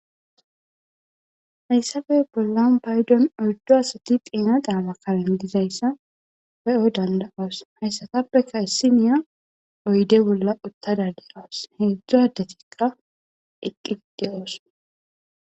Hayssafey bollan paydon odddo asati piina daama kalen dizayssa pe7o dandaoos hayssatappeka issi niya oyde bolla uttadadeqawas heedzdzu hadetiqa eqqii de7oos